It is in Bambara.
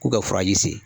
K'u ka furaji sigi